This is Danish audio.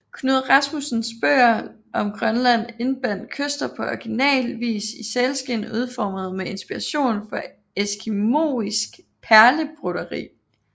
Knud Rasmussens bøger om Grønland indbandt Kyster på original vis i sælskind udformet med inspiration fra eskimoisk perlebroderi